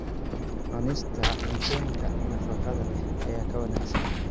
Cunista cuntooyinka nafaqada leh ayaa ka wanaagsan.